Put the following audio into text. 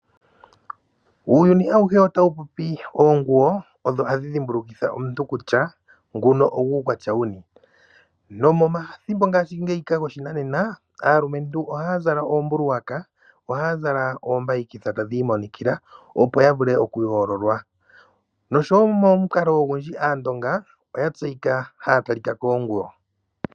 Uuyuni awuhe otawu popi! oonguwo odho hadhi dhimbulukitha omuntu kutya nguno ogwuukwatya wuni nomomathimbo ngaashi ngeyika goshinanena aalumentu ohaya zala oombuluwaka, ohaya zala oombayikitha tadhi imonikila opo ya vule okuyoololwa, nosho wo momukalo ogundji aandonga oya tseyika haya talika koonguwo.